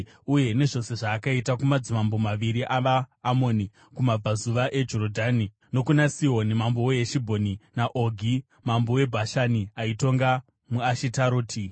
uye nezvose zvaakaita kumadzimambo maviri avaAmoni kumabvazuva eJorodhani nokuna Sihoni mambo weHeshibhoni, naOgi mambo weBhashani, aitonga muAshitaroti.